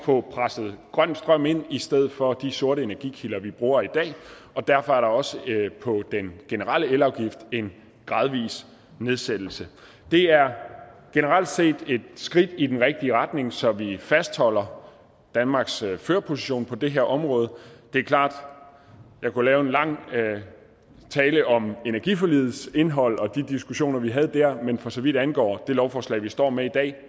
få presset grøn strøm ind i stedet for de sorte energikilder vi bruger i dag og derfor er der også på den generelle elafgift en gradvis nedsættelse det er generelt set et skridt i den rigtige retning så vi fastholder danmarks førerposition på det her område det er klart at jeg kunne lave en lang tale om energiforligets indhold og de diskussioner vi havde der men for så vidt angår det lovforslag vi står med i dag